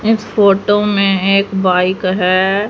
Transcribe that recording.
इस फोटो में एक बाइक है।